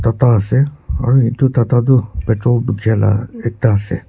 kapra ase aru etu tata tu petrol bukia lah ekta ase.